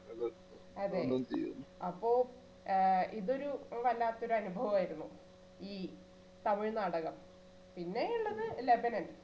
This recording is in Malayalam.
അതെ അപ്പൊ ഏർ ഇതൊരു വല്ലാത്തൊരു അനുഭവമായിരുന്നു ഈ തമിഴ് നാടകം പിന്നെയുള്ളത് ലെബനൻ